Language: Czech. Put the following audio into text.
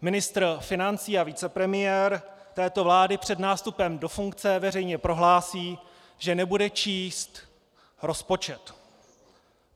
Ministr financí a vicepremiér této vlády před nástupem do funkce veřejně prohlásí, že nebude číst rozpočet.